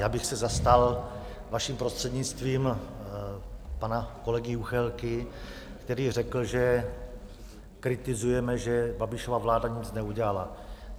Já bych se zastal, vaším prostřednictvím, pana kolegy Juchelky, který řekl, že kritizujeme, že Babišova vláda nic neudělala.